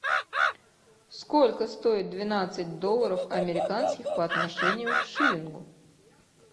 сколько стоит двенадцать долларов американских по отношению к шиллингу